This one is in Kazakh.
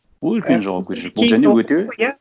ол үлкен жауапкершілік